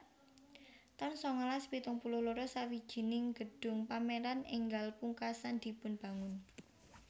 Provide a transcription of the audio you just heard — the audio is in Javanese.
taun sangalas pitung puluh loro Sawijining gedung pameran enggal pungkasan dipunbangun